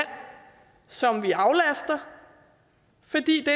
som vi aflaster fordi det